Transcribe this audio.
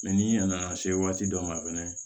ni a nana se waati dɔ ma fɛnɛ